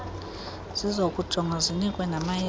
zizokujongwa zinikwe namayeza